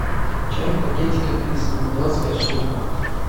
чай в пакетиках лисма двадцать пять штук